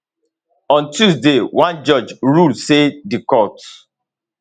on tuesday one judge rule say di court